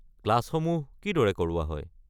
ক্লাছসমূহ কিদৰে কৰোৱা হয়?